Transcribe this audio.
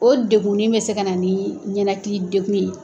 O deguni bɛ se ka na nin ɲɛnakili degun ye. ye